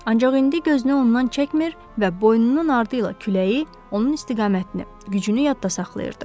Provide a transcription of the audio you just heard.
Ancaq indi gözünü ondan çəkmir və boynunun ardı ilə küləyi, onun istiqamətini, gücünü yadda saxlayırdı.